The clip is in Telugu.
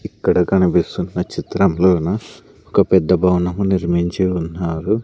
ఇక్కడ కనిపిస్తున్న చిత్రంలోన ఒక పెద్ద భవనం నిర్మించి ఉన్నారు.